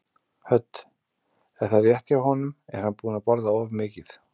Hödd: Er það rétt hjá honum, er hann búinn að borða of mikið?